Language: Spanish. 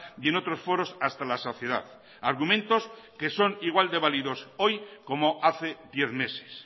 y en otros foros hasta la saciedad argumentos que son igual de válidos hoy como hace diez meses